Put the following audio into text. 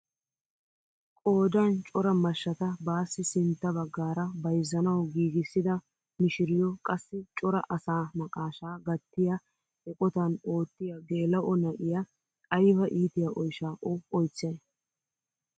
Qoodan cora mashshata baassi sintta baggaara bayzzanawu giigissida mishiriyoo qassi cora asaa naqashshaa gattiyaa eqotan oottiyaa geela'o na'iyaa ayba iitiyaa oyshshaa o oychchayii!